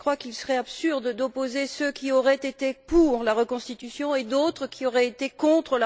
Je crois qu'il serait absurde d'opposer ceux qui auraient été pour la reconstitution et d'autres qui auraient été contre.